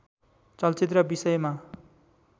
चलचित्र विषयमा